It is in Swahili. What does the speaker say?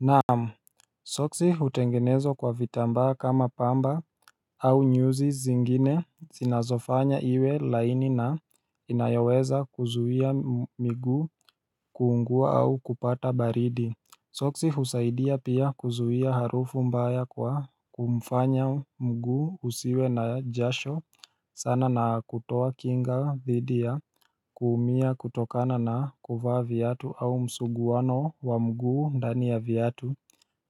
Naamu Soksi hutengenezwa kwa vitambaa kama pamba au nyuzi zingine zinazofanya iwe laini na inayoweza kuzuia miguu kuungua au kupata baridi Soksi husaidia pia kuzuia harufu mbaya kwa kumfanya mguu usiwe na jasho sana na kutoa kinga thidiya kuumia kutokana na kuvaa vyatu au msuguwano wa mguu ndani ya viatu